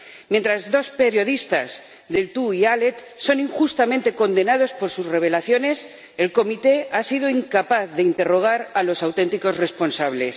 Mientras dos periodistas, Deltour y Halet, son injustamente condenados por sus revelaciones, la comisión ha sido incapaz de interrogar a los auténticos responsables.